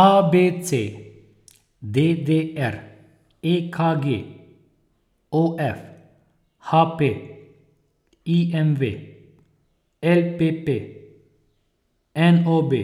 A B C; D D R; E K G; O F; H P; I M V; L P P; N O B;